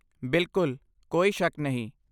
ਬਿਲਕੁਲ, ਕੋਈ ਸ਼ੱਕ ਨਹੀਂ।